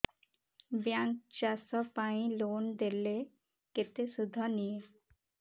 bank ଚାଷ ପାଇଁ loan ଦେଲେ କେତେ ସୁଧ ନିଏ